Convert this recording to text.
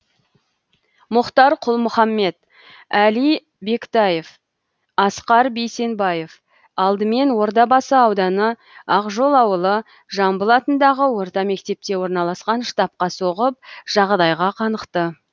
мұхтар құл мұхаммед әли бектаев асқар бейсенбаев алдымен ордабасы ауданы ақжол ауылы жамбыл атындағы орта мектепте орналасқан штабқа соғып жағдайға қанықты